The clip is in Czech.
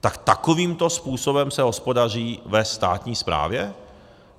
Tak takovýmto způsobem se hospodaří ve státní správě?